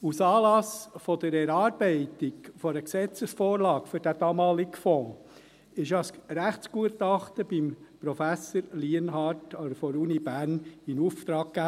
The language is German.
Aus Anlass der Erarbeitung einer Gesetzesvorlage für den damaligen Fonds wurde ja ein Rechtsgutachten bei Prof. Lienhard der Universität Bern in Auftrag gegeben.